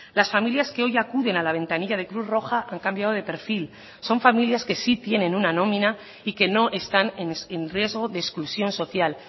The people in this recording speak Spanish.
las familias que hoy acuden a la ventanilla de cruz roja han cambiado de perfil son familias que sí tienen una nómina y que no están en riesgo de exclusión social